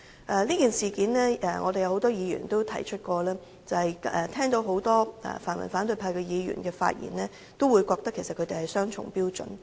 就着這件事，很多議員均曾提出很多泛民反對派議員所作發言，充分顯示他們持雙重標準。